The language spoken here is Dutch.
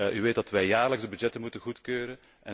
U weet dat wij jaarlijks de begrotingen moeten goedkeuren.